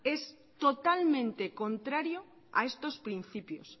es totalmente contrario a estos principios